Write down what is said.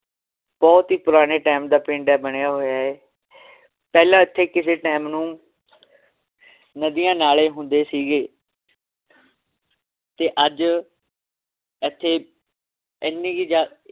ਬਹੁਤ ਈ ਪੁਰਾਣੇ time ਦਾ ਪਿੰਡ ਏ ਬਣਿਆ ਹੋਇਆ ਏ ਪਹਿਲਾਂ ਇਥੇ ਕਿਸੇ time ਨੂੰ ਨਦੀਆਂ ਨਾਲੇ ਹੁੰਦੇ ਸੀਗੇ ਤੇ ਅੱਜ ਇਥੇ ਇਹਨੀਂ ਕਿ ਜ਼ਿਆਦਾ